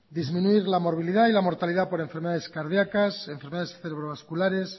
disminuir la morbilidad y la mortalidad por enfermedades cardíacas enfermedades célulovasculares